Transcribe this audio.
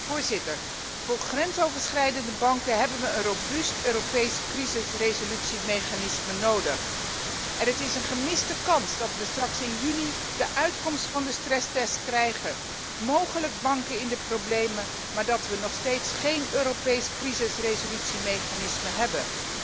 Voorzitter, voor grensoverschrijdende banken hebben we een robuust Europees crisisresolutiemechanisme nodig en het is een gemiste kans dat we straks in juni de uitkomst van de stresstest krijgen, mogelijk banken in de problemen, maar dat we nog steeds geen Europees crisisresolutiemechanisme hebben.